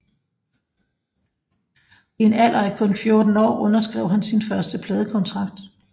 I en alder af kun 14 år underskrev han sin første pladekontrakt